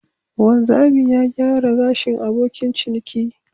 Wanzami ya gyara gashin abokin ciniki.